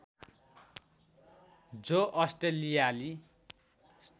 जो अस्ट्रेलियाली